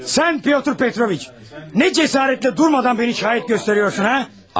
Sən Pyotr Petroviç, nə cəsarətlə durmadan məni şahid göstərirsən, ha?